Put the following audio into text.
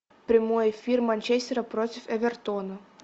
прямой эфир манчестера против эвертона